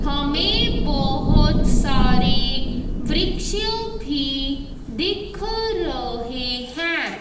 हमें बहोत सारी वृक्षों भी दिख रहीं हैं।